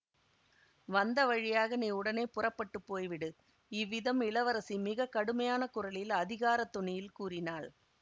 வந்தவழியாக நீ உடனே புறப்பட்டு போய்விடு இவ்விதம் இளவரசி மிக கடுமையான குரலில் அதிகாரத் தொனியில் கூறினாள்